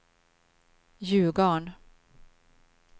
Ljugarn